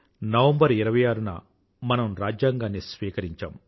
November 26 1949లో మనం రాజ్యాంగాన్ని స్వీకరించాం